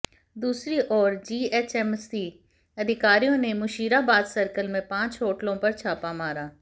दूसरी ओर जीएचएमसी अधिकारियों ने मुशीराबाद सर्कल में पांच होटलों पर छापा मारा